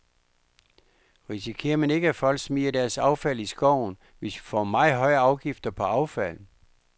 Risikerer man ikke, at folk smider deres affald i skoven, hvis vi får meget høje afgifter på affald?